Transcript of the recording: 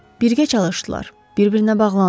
Birgə çalışdılar, bir-birinə bağlandılar.